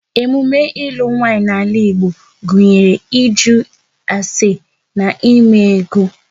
Emume ilu nwaanyị n'ala Igbo gụnyere ịjụ ase na eme ego